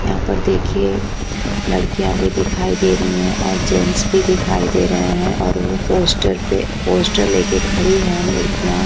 यहां पर देखिए लड़कियां भी दिखाई दे रही हैं और जेंट्स भी दिखाई दे रहे हैं और वह पोस्टर पर पोस्टर लेकर खड़ी हैं लड़कियां।